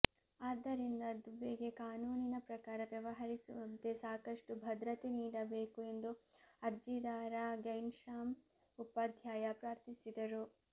ಆದ್ದರಿಂದ ದುಬೆಗೆ ಕಾನೂನಿನ ಪ್ರಕಾರ ವ್ಯವಹರಿಸುವಂತೆ ಸಾಕಷ್ಟು ಭದ್ರತೆ ನೀಡಬೇಕು ಎಂದು ಅರ್ಜಿದಾರ ಘೈನ್ಶ್ಯಾಮ್ ಉಪಾಧ್ಯಾಯ ಪ್ರಾರ್ಥಿಸಿದರು